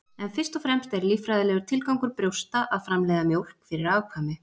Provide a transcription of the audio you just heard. En fyrst og fremst er líffræðilegur tilgangur brjósta að framleiða mjólk fyrir afkvæmi.